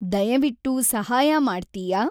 ದಯವಿಟ್ಟು ಸಹಾಯ ಮಾಡ್ತಿಯಾ?